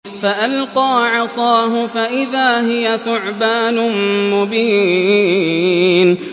فَأَلْقَىٰ عَصَاهُ فَإِذَا هِيَ ثُعْبَانٌ مُّبِينٌ